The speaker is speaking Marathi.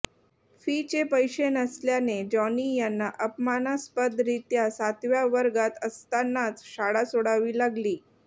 फीचे पैसे नसल्याने जॉनी यांना अपमानास्पदरीत्या सातव्या वर्गात असतानाच शाळा सोडावी लागली